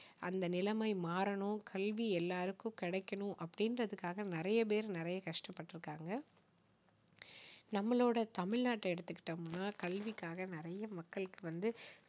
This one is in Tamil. அந்த நிலைமை மாறணும் கல்வி எல்லாருக்கும் கிடைக்கணும் அப்படிங்கறதுக்காக நிறைய பேர் நிறைய கஷ்டப்பட்டு இருக்காங்க நம்மளோட தமிழ்நாட்டை எடுத்துக்கிட்டோம்னா கல்விக்காக நிறைய மக்களுக்கு வந்து